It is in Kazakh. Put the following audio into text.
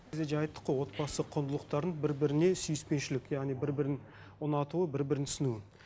біз де жаңа айттық қой отбасы құндылықтарын бір біріне сүйіспеншілік яғни бір бірін ұнатуы бір бірін түсінуі